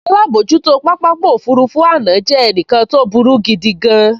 Alábojútó pápákọ̀ òfurufú àná jẹ́ ẹnìkan tó burú gidigan